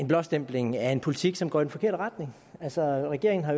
blåstempling af en politik som går i den forkerte retning altså regeringen har